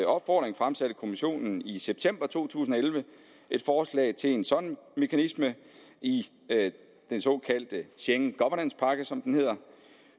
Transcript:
opfordring fremsatte kommissionen i september to tusind og elleve et forslag til en sådan mekanisme i den såkaldte schengen governance pakke som den hedder